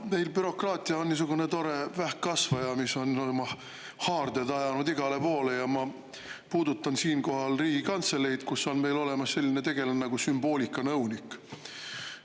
Meil bürokraatia on niisugune tore vähkkasvaja, mis on oma haarded ajanud igale poole, ja ma puudutan siinkohal Riigikantseleid, kus on meil olemas selline tegelane nagu sümboolikanõunik.